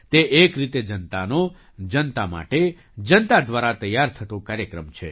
તે એક રીતે જનતાનો જનતા માટે જનતા દ્વારા તૈયાર થતો કાર્યક્રમ છે